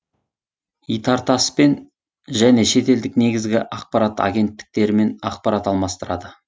итартасс пен және шетелдік негізгі ақпарат агенттіктерімен ақпарат алмастырады